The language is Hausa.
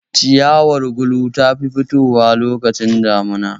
Ciyawar gulu ta fi fitowa lokacin damuna